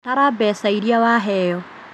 Tara mbeca irĩa waheo